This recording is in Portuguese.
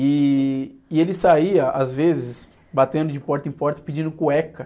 E, e ele saía, às vezes, batendo de porta em porta pedindo cueca.